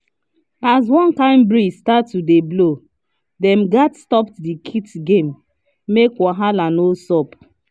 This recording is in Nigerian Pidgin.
as one kind breeze start to blow dem gats stop the kite game make wahala no sup